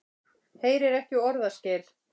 Heyrir ekki orðaskil.